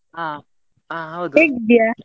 ಹಾ, ಹಾ.